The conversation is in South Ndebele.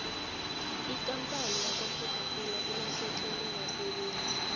ikampani yakwacoca cola ilahlekelwe basebenzi